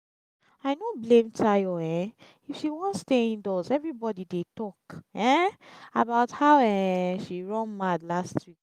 i no blame tayo um if she wan stay indoors everybody dey talk um about how um she run mad last week